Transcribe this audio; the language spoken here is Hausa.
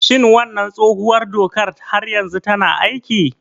Shin wannan tsohuwar dokar har yanzu tana aiki?